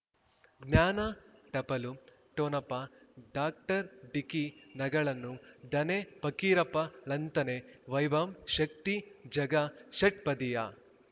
ಜ್ಞಾನ ಟಪಲು ಠೊಣಪ ಡಾಕ್ಟರ್ ಢಿಕ್ಕಿ ಣಗಳನು ಧನೆ ಫಕೀರಪ್ಪ ಳಂತಾನೆ ವೈಭವ್ ಶಕ್ತಿ ಝಗಾ ಷಟ್ಪದಿಯ